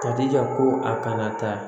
Ka jija ko a kana taa